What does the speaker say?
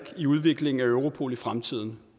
i udviklingen af europol i fremtiden